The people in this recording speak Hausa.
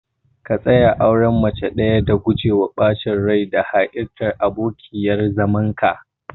ka tsaya a auren mace ɗaya dan gujewa ɓacin rai da ha'intar abokiyar zamanka.